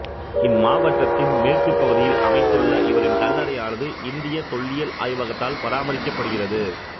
இம்மாவட்டத்தின் மேற்குப்பகுதியில் அமைத்துள்ள இவரின் கல்லறையானது இந்தியத் தொல்லியல் ஆய்வகத்தால் பராமரிக்கப்படுகிறது